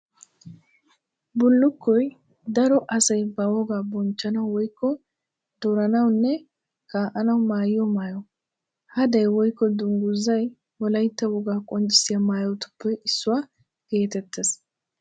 Bulukkoy daro asay ba wogaa bonchchanawu woykko duranawunne kaa'anawu maayiyo maayo. Hadee woykko dungguzay wolaytta wogaa qonccissiya maayotuppe issuwa geetettees.